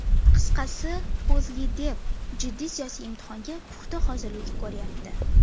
Qisqasi, O‘zLiDeP jiddiy siyosiy imtihonga puxta hozirlik ko‘ryapti.